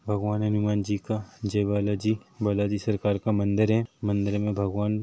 भगवान हनुमान जी का जय बालाजी सरकार का मंदिर है मंदिर में भगवान--